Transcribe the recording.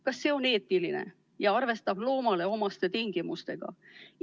Kas see on eetiline ja arvestab loomale omaste tingimustega?